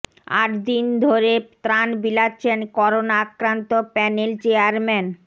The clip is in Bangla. আট দিন ধরে ত্রাণ বিলাচ্ছেন করোনা আক্রান্ত প্যানেল চেয়ারম্যান